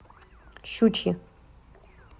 щучье